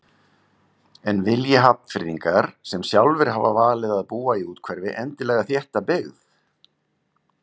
En vilji Hafnfirðingar sem sjálfir hafa valið að búa í úthverfi endilega þétta byggð?